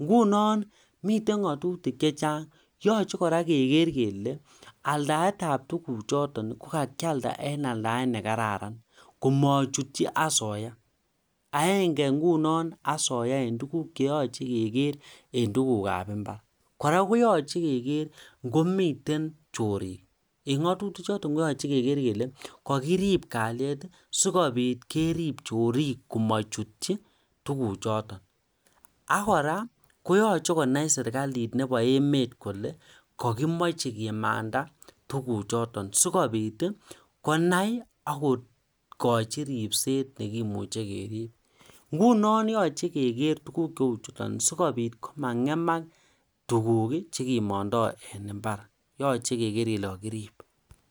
ingunon miten ngatutik chechang yoche kora kegeer kele aldaetab tuguchoton ko kakialda en aldaet ne kararan komochutyi asoya agenge ingunon asoya en tuguk che yoche kegeer en tugukab imbar kora koyoche kegeer ingomiten chorik en ngatutik choton koche kegeer kele kokirib kalyet sikobit kerib chorik komochutyi tuguchoton kora konyolu konai serkalit nebo emet kole kokimoche kimanda tuguchoton sikobit konai aK kogochi ribset nekimoche kerib ingunon yoche kegeer tuguk cheu chuton simangemak tuguk chekimondoi en imbar